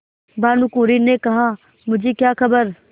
भानुकुँवरि ने कहामुझे क्या खबर